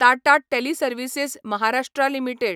Tata teleservices Maharashtra limited